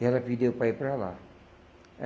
E ela pediu para ir para lá.